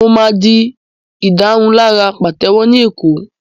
Mo máa di ìdárunlárà pàtẹ́wọ́ ní Èkó